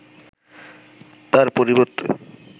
তার পরিবর্তে